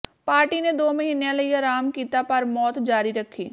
party ਨੇ ਦੋ ਮਹੀਨਿਆਂ ਲਈ ਆਰਾਮ ਕੀਤਾ ਪਰ ਮੌਤ ਜਾਰੀ ਰੱਖੀ